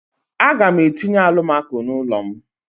A ga m etinye alụmako n'ulo m.